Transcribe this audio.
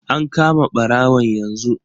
An kama barawon yanzu.